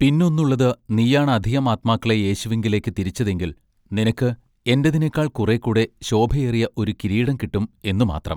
പിന്നൊന്നുള്ളത് നീയാണധികമാത്മാക്കളെ യേശുവിങ്കലേക്ക് തിരിച്ചത് എങ്കിൽ നിനക്ക് എന്റേതിനേക്കാൾ കുറെക്കൂടെ ശോഭയേറിയ ഒരു കിരീടം കിട്ടും എന്നു മാത്രം.